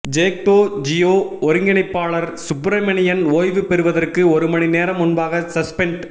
ஜேக்டோ ஜியோ ஒருங்கிணைப்பாளர் சுப்பிரமணியன் ஓய்வு பெறுவதற்கு ஒரு மணிநேரம் முன்பாக சஸ்பென்ட்